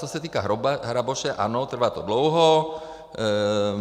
Co se týká hraboše, ano, trvá to dlouho.